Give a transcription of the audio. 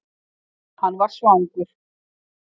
Hann var svangur.